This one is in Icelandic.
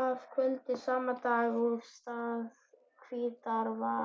að kvöldi sama dags af stað til Hvítárvalla.